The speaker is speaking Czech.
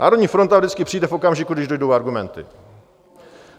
Národní fronta vždycky přijde v okamžiku, když dojdou argumenty.